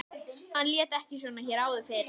Hann lét ekki svona hér áður fyrr.